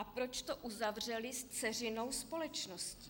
A proč to uzavřeli s dceřinou společností?